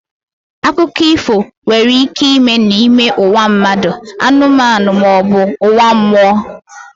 Akụkọ ifo nwere ike ime n'ime ụwa mmadụ, anụmanụ ma ọ bụ ụwa mmụọ